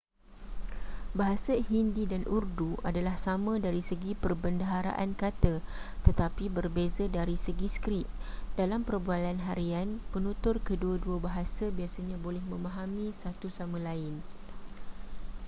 bahasa hindi dan urdu adalah sama dari segi perbendaharaan kata tetapi berbeza dari segi skrip dalam perbualan harian penutur kedua-dua bahasa biasanya boleh memahami satu sama lain